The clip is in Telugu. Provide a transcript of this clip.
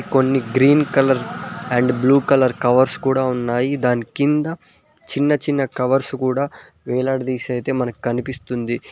కొన్ని green colour and blue colour covers కూడా ఉన్నాయి దాని కింద చిన్న చిన్న కవర్స్ కూడా వేలాడదీసి అయితే మనకు కనిపిస్తుంది.